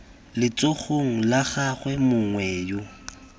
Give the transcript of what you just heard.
letsogong la gagwe mongwe yo